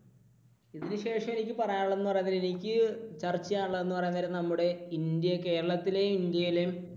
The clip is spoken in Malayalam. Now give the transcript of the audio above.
ഇതിനുശേഷം എനിക്ക് പറയാനുള്ളത് എന്ന് പറയാണ് നേരം എനിക്ക് ചർച്ചചെയ്യാൻ ഉള്ളത് എന്ന് പറയാൻ നേരം നമ്മുടെ ഇന്ത്യ, കേരളത്തിലെയും ഇന്ത്യയിലെയും